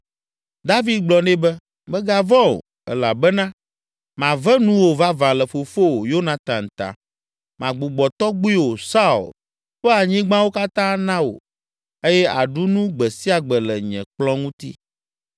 David gblɔ nɛ be, “Mègavɔ̃ o, elabena mave nuwò vavã le fofowò, Yonatan ta. Magbugbɔ tɔgbuiwò, Saul, ƒe anyigbawo katã ana wò eye àɖu nu gbe sia gbe le nye kplɔ̃ ŋuti.”